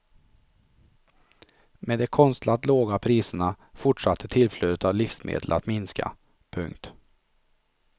Med de konstlat låga priserna fortsatte tillflödet av livsmedel att minska. punkt